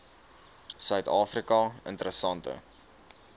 suid afrika interessante